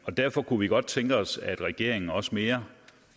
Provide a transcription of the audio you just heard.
derfor kunne vi godt tænke os at regeringen også mere